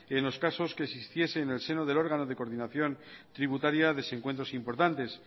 en los casos que existiese en el seno del órgano de coordinación tributaria desencuentros importantes